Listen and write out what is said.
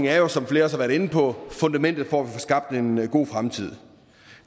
er som flere også været inde på fundamentet for at vi får skabt en god fremtid